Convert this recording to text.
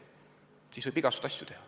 Kui see on selge, siis võib igasuguseid asju teha.